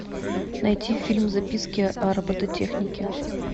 найти фильм записки о робототехнике